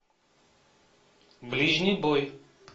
ближний бой